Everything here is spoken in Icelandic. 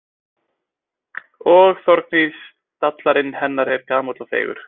Og Þorgnýr stallarinn hennar er gamall og feigur.